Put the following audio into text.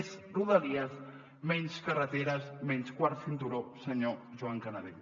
més rodalies menys carreteres menys quart cinturó senyor joan canadell